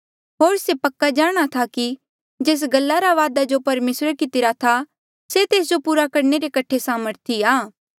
होर पक्का जाणा था कि जेस गल्ला रा वादा जो परमेसरे कितिरा था से तेस जो पूरा करणे रे कठे सामर्थी आ